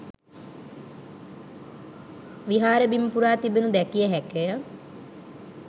විහාර බිම පුරා තිබෙනු දැකිය හැකිය